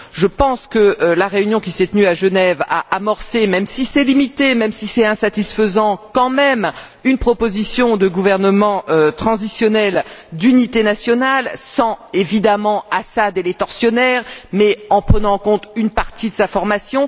Je pense que la réunion qui s'est tenue à Genève a quand même amorcé même si c'est limité, même si c'est insatisfaisant une proposition de gouvernement transitoire d'union nationale sans, évidemment, Assad et les tortionnaires, mais en prenant en compte une partie de sa formation.